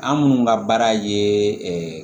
An minnu ka baara ye ɛɛ